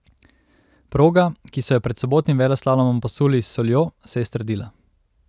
Proga, ki so jo pred sobotnim veleslalomom posuli s soljo, se je strdila.